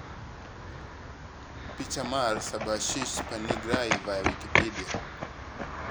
picha mar Subhashish Panigrahi via Wikimedia (CC BY-SA 4.0)